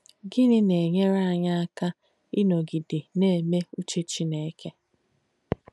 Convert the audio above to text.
Gìnì nà-ènyére ányì àka ìnọ́gidē nà-èmé úche Chìnéke?